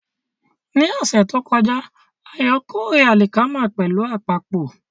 Ní ọ̀sẹ̀ tó kọjá, Ayo kórè alikama pẹ̀lú àpapọ̀.